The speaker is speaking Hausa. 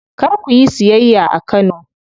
Kar kuyi siyayya a Kano.